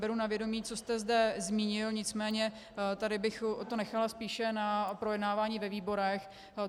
Beru na vědomí, co jste zde zmínil, nicméně tady bych to nechala spíše na projednávání ve výborech.